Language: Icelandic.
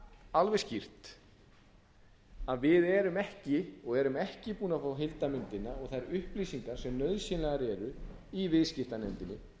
alveg skýrt að við erum ekki búin að fá heildarmyndina og þær upplýsingar sem nauðsynlegar eru í viðskiptanefndinni